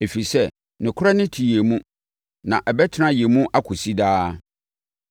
ɛfiri sɛ, nokorɛ no te yɛn mu na ɛbɛtena yɛn mu akɔsi daa: